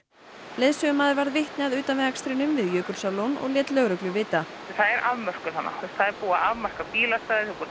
leiðsögumaður varð vitni að utanvegaakstrinum við Jökulsárlón og lét lögreglu vita það er afmörkun þarna það er búið að afmarka bílastæði og